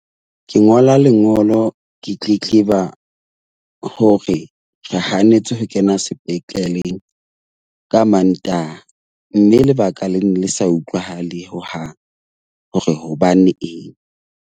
Ke ngola lengolo ke tletleba hore re hanetswe ho kena sepetleng ka Mantaha mme lebaka le ne le sa utlwahale hohang hore hobane eng.